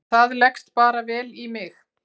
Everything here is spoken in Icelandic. Það leggst bara vel í mig.